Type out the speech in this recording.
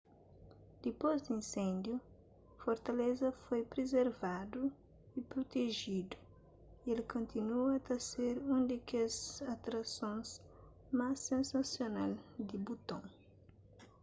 dipôs di insêndiu fortaleza foi prizervadu y prutejidu y el kontinua ta ser un di kes atrasons más sensasional di buton